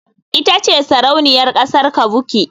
Ita ce Sarauniyar kasar kavuki.